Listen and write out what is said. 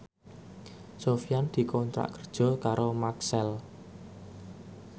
Sofyan dikontrak kerja karo Maxell